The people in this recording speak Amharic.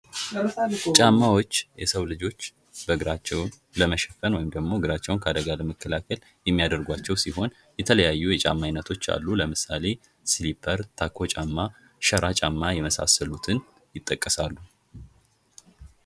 ጫማዎች የሰው ልጆች እግራቸውን ለመሸፈን ወይም ደግሞ እግራቸውን ከአደጋ ለመከላከል የሚያደርገውጕቸው ሲሆን የተለያዩ የጫማ አይነቶች አሉ ለምሳሌ ስሊፐር ታኮ ጫማ ሸራ ጫማ የመሳሰሉትን ይጠቀሳሉ::